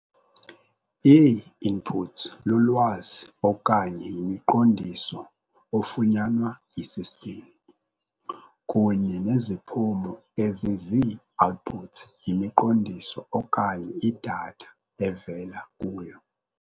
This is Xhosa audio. Ii-inputs lulwazi okanye yimiqondiso ofunyanwa yi-system, kunye neziphumo ezizii-outputs yimiqondiso okanye i-data evela kuyo.